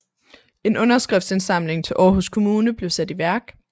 En underskriftindsamling til Aarhus kommune blev sat i værk